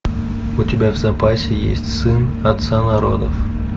у тебя в запасе есть сын отца народов